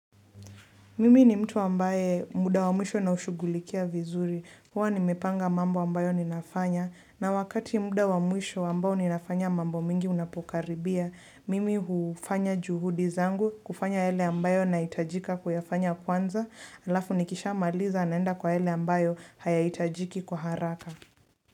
Mimi ni mtu ambaye muda wa mwisho naushugulikia vizuri. Huwa nimepanga mambo ambayo ninafanya. Na wakati muda wa mwisho ambao ninafanya mambo mingi unapokaribia, mimi hufanya juhudi zangu kufanya yale ambayo nahitajika kuyafanya kwanza. Alafu nikishamaliza naenda kwa yale ambayo hayahitajiki kwa haraka.